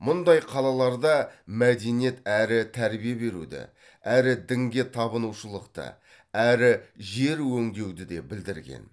мұндай қалаларда мәдениет әрі тәрбие беруді әрі дінге табынушылықты әрі жер өңдеуді де білдірген